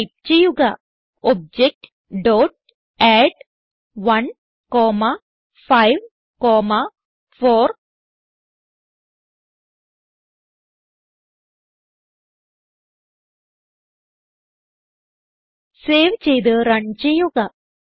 type ചെയ്യുക OBJ dot add 1 comma 5 comma 4 save ചെയ്ത് run ചെയ്യുക